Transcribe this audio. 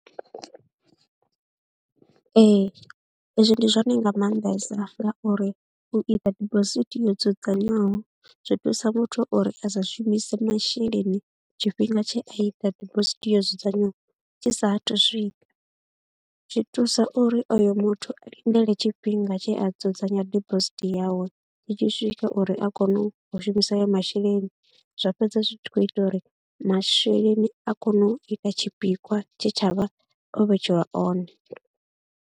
Ee hezwi ndi zwone nga maanḓesa ngauri u ita dibosithi yo dzudzanywaho zwi thusa muthu uri a sa shumise masheleni tshifhinga tshe a ita dibosithi yo dzudzanywaho tshi saathu swika. Zwi thusa uri oyo muthu a lindele tshifhinga tshe a dzudzanya dibosithi yawe tshi tshi swika uri a kone u shumisa ayo masheleni, zwa fhedza zwi tshi khou ita uri masheleni a kone u ita tshipikwa tshe tsha vha o vhetshelwa one.